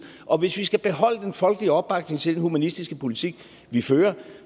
og hvis vi skal beholde den folkelige opbakning til den humanistiske politik vi fører